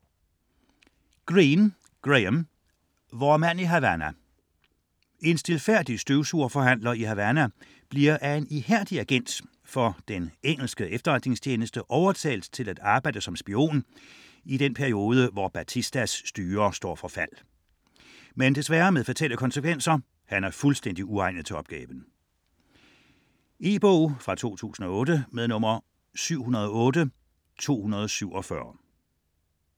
Greene, Graham: Vor mand i Havana En stilfærdig støvsugerforhandler i Havana bliver af en ihærdig agent for den engelske efterretningstjeneste overtalt til at arbejde som spion. E-bog 708247 2008.